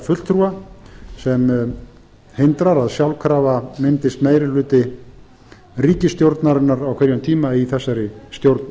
fulltrúa sem hindrar að sjálfkrafa myndist meiri hluti ríkisstjórnarinnar á hverjum tíma í þessari stjórn